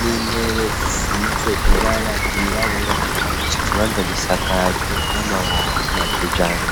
n'intebe zisize ibara ryirabura, ico kibanza gisakajwe n'amabati ya kijambere.